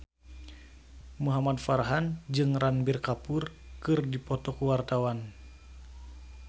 Muhamad Farhan jeung Ranbir Kapoor keur dipoto ku wartawan